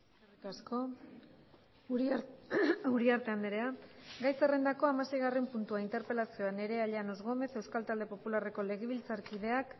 eskerrik asko uriarte andrea gai zerrendako hamaseigarren puntua interpelazioa nerea llanos gómez euskal talde popularreko legebiltzarkideak